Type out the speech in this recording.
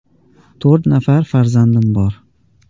“To‘rt nafar farzandim bor.